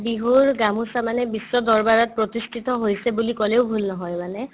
বিহুৰ গামোছা মানে বিশ্ব দৰবাৰত প্ৰতিষ্ঠিত হৈছে বুলি ক'লেও ভূল নহয় মানে